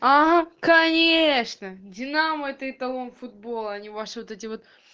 ага конечно динамо это эталон футбола а ни ваши вот эти вот